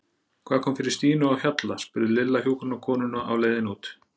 Hvað kom fyrir Stínu á Hjalla? spurði Lilla hjúkrunarkonuna á leiðinni út.